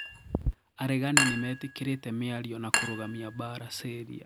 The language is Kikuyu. Aregani nimetekĩrĩte miario na kũrũgamia mbara Syria.